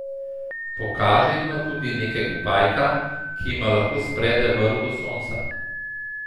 Pokaže jima tudi nekega pajka, ki jima lahko sprede vrv do sonca.